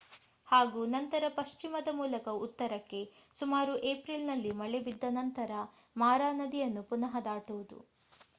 ಹಾಗೂ ನಂತರ ಪಶ್ಚಿಮದ ಮೂಲಕ ಉತ್ತರಕ್ಕೆ ಸುಮಾರು ಏಪ್ರಿಲ್‌ನಲ್ಲಿ ಮಳೆ ಬಿದ್ದ ನಂತರ ಮಾರಾ ನದಿಯನ್ನು ಪುನಃ ದಾಟುವುದು